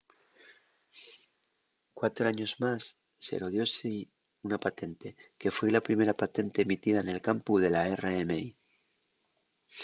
cuatro años más sero dióse-y una patente que foi la primera patente emitida nel campu de la rmi